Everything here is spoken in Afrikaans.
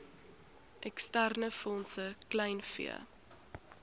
eksterne fondse kleinvee